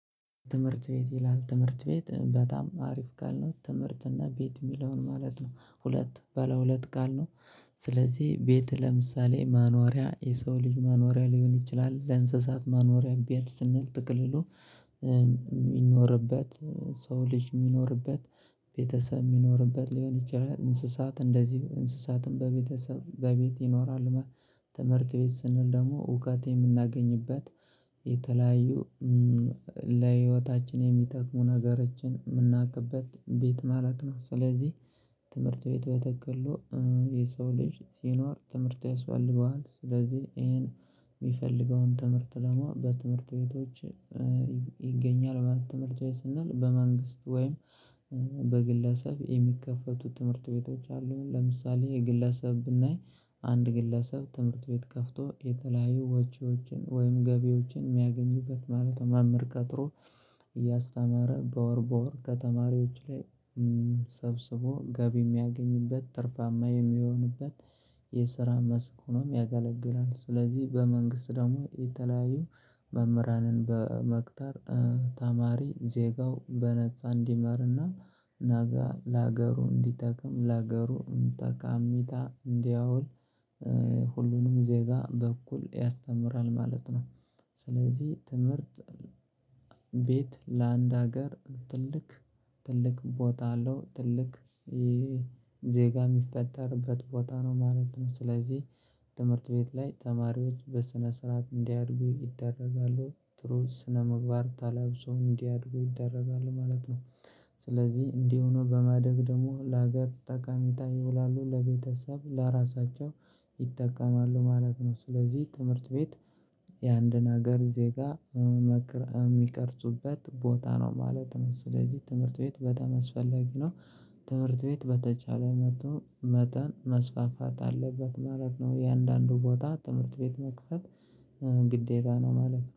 ትምህርት ቤት ይላል ትምህርት ቤት በጣም አሪፍ ካልነው ትምህርት እና ቤት የሚለውን ማለት ነው። ሁለት ባለ ሁለት ቃል ነው። ስለዚህ ቤት ለምሳሌ መኖሪያ የሰው ልጅ መኖሪያ ሊሆን ይችላል። ለእንስሳት መኖሪያ ቤት ስንል በጥቅሉ የሚኖርበት ሰው ልጅ የሚኖርበት ቤተሰብ የሚኖርበት ሊሆን ይችላል፤ እንስሳት እንደዚሁ እንስሳትም በቤተሰብ በቤት ይኖራል። ትምህርት ቤት ስንል ደግሞ እውቀት የምናገኝበት፤ የተለያዩ ለህይወታችን የሚጠቅሙ ነገሮችን የምናውቅበት፤ ቤት ማለት ነው። ስለዚህ ትምህርት ቤት በጥቅሉ የሰው ልጅ ሲኖር ትምህርት ያስፈልገዋል። ስለዚህ ይሄን የሚፈልገውን ትምህርት ደግሞ በትምህርት ቤቶች ይገኛል። ትምህርት ስንል በመንግስት ወይም በግለሰብ የሚከፈቱት ትምህርት ቤቶች አሉ። ለምሳሌ የግለሰብ ብናይ አንድ ግለሰብ ትምህርት ቤት ከፍቶ የተለያየ ወቼዎችን ወይም ገቢዎችን የሚያገኝበት ማለትነው። መምህር ቀጥሮ እያስተማረ በወር በወር ከተማሪዎች ላይ ሰብስቦ ገቢ የሚያገኝበት ትርፋማ የሚሆንበት የስራ መስክ ሆኖም ያገለግላል። ስለዚህ በመንግስት ደግሞ የተለያዩ መምህራንን በመቅጠር ተማሪ ዜጋው በነፃ እንዲማርና ነገ ለሀገሩ እንዲጠቅም ለሀገሩ ጠቀሜታ እንዲያውል ሁሉንም ዜጋ በኩል ያስተምራል ማለት ነው። ስለዚህ ትምህርት ቤት ለአንድ ሀገር ትልቅ ቦታ አለው። ትልቅ ዜጋ የሚፈጠርበት ቦታ ነው ማለት ነው። ስለዚህ ትምህርት ቤት ላይ ተማሪዎች በስነ ስርዓት እንዲያድጉ ይደረጋሉ። ጥሩ ስነምግባር ተላብሶ እንዲያድጉ ይደረጋሉ ማለት ነው። ስለዚህ እንዲህ ሆኖ በማደግ ደግሞ ለሀገር ጠቃሜታ ይውላሉ። ለቤተሰብ፤ ለራሳቸው ይጠቀማሉ ማለት ነው። ስለዚህ ትምህርት ቤት የአንድን ሀገር ዜጋ የሚቀርጹበት ቦታ ነው ማለት ነው። ስለዚህ ትምህርት ቤት በጣም አስፈለጊ ነው ማለት ነው። ትምህርት ቤት በተቻለ መጠን መስፋፋት አለበት ማለት ነው። የእያንዳንዱ ቦታ ትምህርት ቤት መክፈት ግዴታ ነው ማለት ነው።